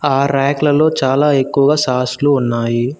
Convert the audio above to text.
ఆ ర్యకులలో చాలా ఎక్కువగా సాస్లు ఉన్నాయి.